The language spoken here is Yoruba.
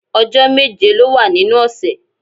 Ọjọ́ méje ló wà nínú ọ̀sẹ̀